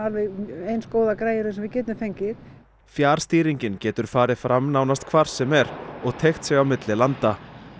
eins góðar græjur og við getum fengið fjarstýringin getur farið fram nánast hvar sem er og teygt sig á milli landa